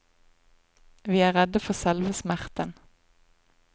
Vi er redde for selve smerten.